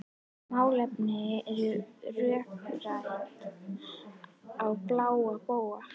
Málefnin voru rökrædd á bága bóga.